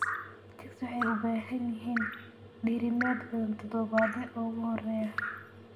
Chicks waxay u baahan yihiin diirimaad badan toddobaadyada ugu horreeya.